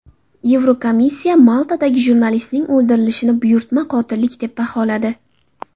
Yevrokomissiya Maltada jurnalistning o‘ldirilishini buyurtma qotillik deb baholadi.